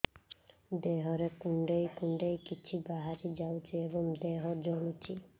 ଦେହରେ କୁଣ୍ଡେଇ କୁଣ୍ଡେଇ କିଛି ବାହାରି ଯାଉଛି ଏବଂ ଦେହ ଜଳୁଛି